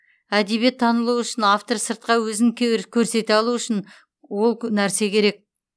әдебиет танылуы үшін автор сыртқа өзін көрсете алуы үшін ол керек нәрсе